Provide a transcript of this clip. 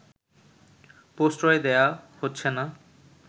প্রশ্রয় দেয়া হচ্ছেনা